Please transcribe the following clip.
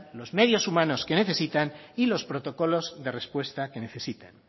los medios humanos que necesitan y los protocolos de respuesta que necesitan